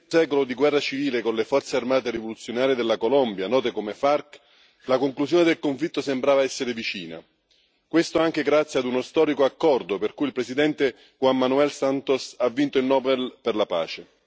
secolo di guerra civile con le Forze armate rivoluzionarie della Colombia, note come FARC, la conclusione del conflitto sembrava essere vicina, questo anche grazie a uno storico accordo per cui il presidente Juan Manuel Santos ha vinto il Nobel per la pace.